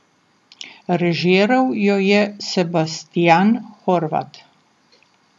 Režiral jo je Sebastijan Horvat.